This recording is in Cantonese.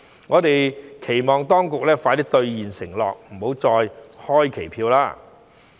我們期望當局能盡快兌現承諾，不要再開期票。